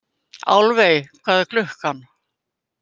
Álfey, hvað er klukkan?